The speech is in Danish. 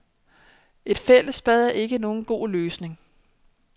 Et fællesbad er ikke nogen god løsning.